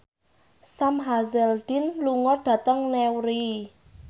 Sam Hazeldine lunga dhateng Newry